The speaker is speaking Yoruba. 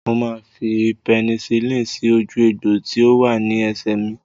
Mo máa fi pẹnisilínì sí ojú egbò tí ó wà ní ẹsẹ̀ mi